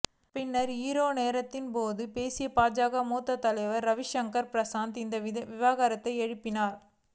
பின்னர் ஜீரோ நேரத்தின் போது பேசிய பாஜக மூத்த தலைவர் ரவிசங்கர் பிரசாத் இந்த விவகாரத்தை எழுப்பினார்